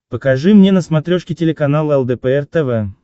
покажи мне на смотрешке телеканал лдпр тв